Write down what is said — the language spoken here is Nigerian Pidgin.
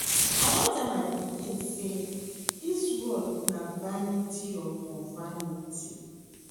I don tell my pikin say dis world na vanity upon vanity